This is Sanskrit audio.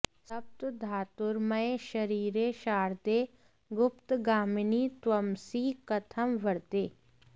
सप्त धातुर्मय शरीरे शारदे गुप्तगामिनि त्वमसि कथं वरदे